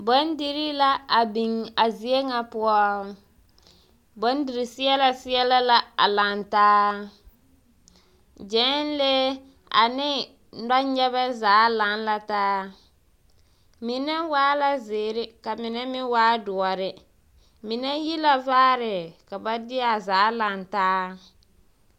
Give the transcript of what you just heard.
Bondirii la a biŋ a zie ŋa poɔ, bondiri seɛla seɛla la a lantaa, gyɛnlee ane nɔnyɛbɛ zaa laŋ la taa, mine waa la zeere ka mine meŋ waa doɔre, mine yi la vaare ka ba de a zaa lantaa. 13407